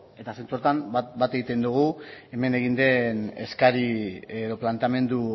eta zentzu horretan bat egiten dugu hemen egin den eskaria edo planteamendu